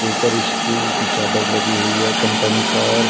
ऊपर स्टील की चादर लगी हुई है कंपनी पर।